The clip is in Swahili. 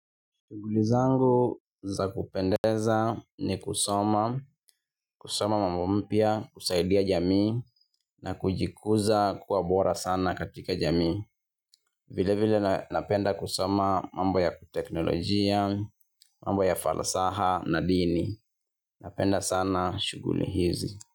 Shuguli zangu za kupendeza ni kusoma, kusoma mambo mpya, kusaidia jamii na kujikuza kuwa bora sana katika jamii. Vile vile napenda kusoma mambo ya teknolojia, mambo ya falsaha na dini. Napenda sana shuguli hizi.